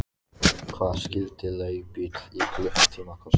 Hvað skyldi leigubíll í klukkutíma kosta?